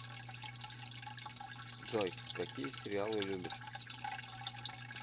джой какие сериалы любишь